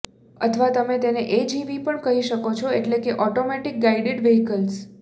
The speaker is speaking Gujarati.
અથવા તમે તેને એજીવી પણ કહી શકો એટલે કે ઓટોમેટિક ગાઇડેડ વેહિકલ્સ